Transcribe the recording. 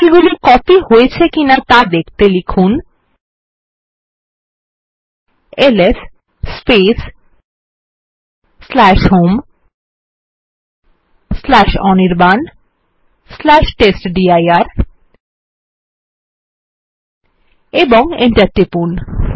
ফাইলগুলি কপি হয়েছে কিনা ত়া দেখতে লিখুন এলএস হোম অনির্বাণ টেস্টডির এবং Enter টিপুন